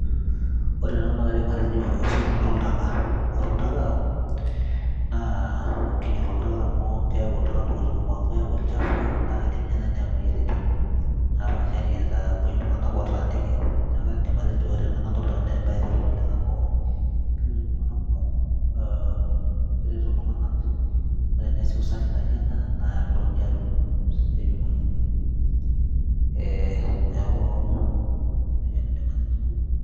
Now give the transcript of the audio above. ore ena naa kaidim atejo esotunoto oltaka ore oltaka naa kinyial oltaka amu keyau oltaka ntokitin kumok amu keyau olchafu naa kidim ninye naaji neyau imoyiaritin napaashari aitamuoi iltung'anak otaaniki neeku kaidim atejo ore ena nadolta nanu naa embaye etipat oleng amu keretito iltung'anak kumok uh, keretito iltung'anak amu teneesi usafi nijo ena naa mitokini atum esiai omoyiaritin eh, niaku nejia nanu aidim atejo.